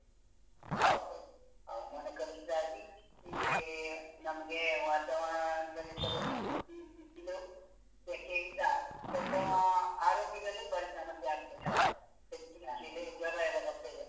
ಹೌದು, ಹವಾಮಾನ ಕಲುಷಿತ ಆಗಿ ಈ ನಮ್ಗೆ ವಾತಾವರಣದಲ್ಲಿ ಕೆಲವು ಕೆಲವು ಸೆಕೆಯಿಂದ ಸ್ವಲ್ಪ ಆರೋಗ್ಯದಲ್ಲಿ ಬಾರಿ ಸಮಸ್ಯೆ ಆಗ್ತಾ ಇದೆ ಹೌದು ಹೆಚ್ಚಿನ ಕಡೆ ಜ್ವರಯೆಲ್ಲ ಬರ್ತಿದೆ.